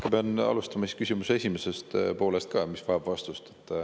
Ma pean alustama küsimuse esimesest poolest, mis vajab vastust.